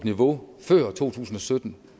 niveauet før to tusind og sytten